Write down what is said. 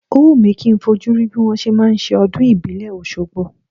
Ó wù mi kì í fojú rí bí wọn ṣe máa ń ṣe ọdún ìbílẹ̀ Oṣogbo.